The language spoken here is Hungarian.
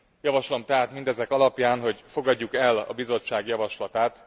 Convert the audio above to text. Javaslom tehát mindezek alapján, hogy fogadjuk el a Bizottság javaslatát!